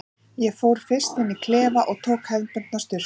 Ég fór fyrst inn í klefa og tók hefðbundna sturtu.